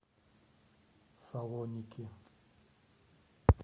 салоники